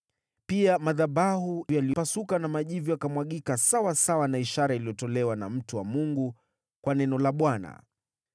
Pia, madhabahu yalipasuka na majivu yakamwagika sawasawa na ishara iliyotolewa na mtu wa Mungu kwa neno la Bwana .